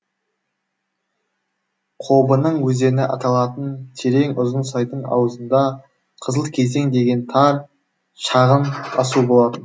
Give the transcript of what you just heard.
қобының өзені аталатын терең ұзын сайдың ауызында қызыл кезең деген тар шағын асу болатын